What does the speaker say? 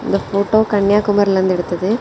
இந்த ஃபோட்டோ கன்னியாகுமரிலர்ந்து எடுத்தது.